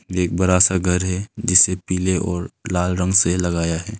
एक बड़ा सा घर है जिसे पीले और लाल रंग से लगाया है।